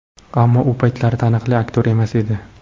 Ammo u paytlari taniqli aktyor emas edi.